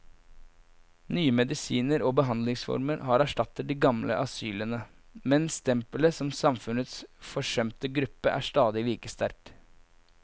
Nye medisiner og behandlingsformer har erstattet de gamle asylene, men stempelet som samfunnets forsømte gruppe er stadig like sterkt.